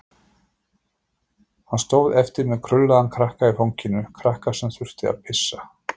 Hann stóð eftir með krullaðan krakka í fanginu, krakka sem þurfti að pissa.